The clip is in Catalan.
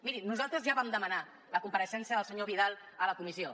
miri nosaltres ja vam demanar la compareixença del senyor vidal a la comissió